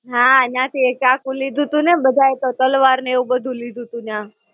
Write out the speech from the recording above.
હાં, ન્યાં થી એક ચાકુ લીધું તું ને, બધા એ તો તલવાર ને એવું બધું લીધું તું ન્યાં.